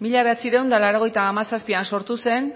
mila bederatziehun eta laurogeita hamazazpian sortu zen